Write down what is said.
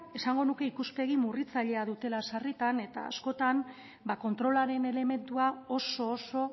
esango nuke ikuspegi murritzailea dutela sarritan eta askotan ba kontrolaren elementua oso oso